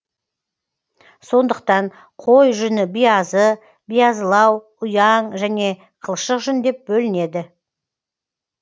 сондықтан қой жүні биязы биязылау ұяң және қылшық жүн деп бөлінеді